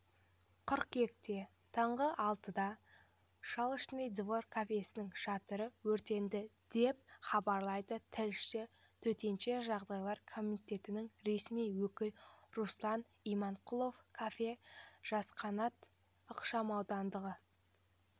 қыркүйекте таңғы алматыда шашлычный двор кафесінің шатыры өртенді деп хабарлайды тілшісі төтенше жағдайлар комитетінің ресми өкілі руслан иманқұлов кафе жасқанат ықшамауданындағы